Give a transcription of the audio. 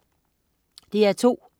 DR2: